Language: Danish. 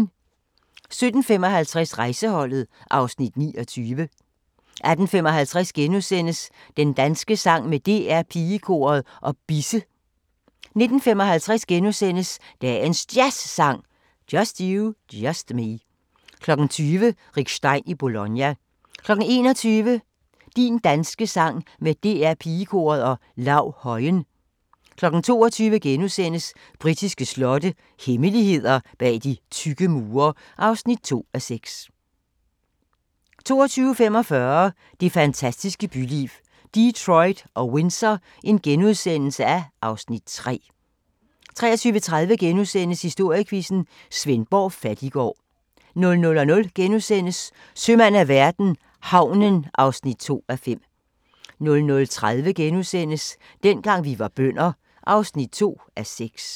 17:55: Rejseholdet (Afs. 29) 18:55: Din danske sang med DR Pigekoret og Bisse * 19:55: Dagens Jazzsang: Just You, Just Me * 20:00: Rick Stein i Bologna 21:00: Din danske sang med DR Pigekoret og Lau Højen 22:00: Britiske slotte – hemmeligheder bag de tykke mure (2:6)* 22:45: Det fantastiske byliv – Detroit og Windsor (Afs. 3)* 23:30: Historiequizzen: Svendborg Fattiggård * 00:00: Sømand af verden - havnen (2:5)* 00:30: Dengang vi var bønder (2:6)*